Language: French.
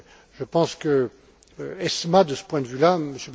Je pense qu'ESMA, de ce point de vue là,